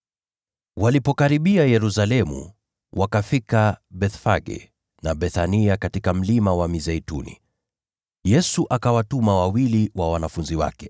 Walipokaribia Yerusalemu, wakafika Bethfage na Bethania katika Mlima wa Mizeituni. Yesu akawatuma wawili wa wanafunzi wake,